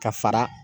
Ka fara